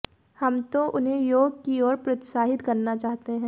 हम तो उन्हें योग की ओर प्रोत्साहित करना चाहते हैं